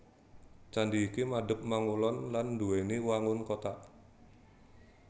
Candhi iki madhep mangulon lan nduwèni wangun kothak